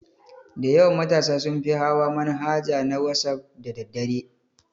Dayawan matasa sunfi hawa manhaja na wasaf da daddare